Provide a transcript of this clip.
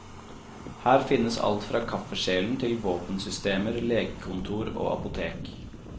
Her finnes alt fra kaffekjelen til våpensystemer, legekontor og apotek.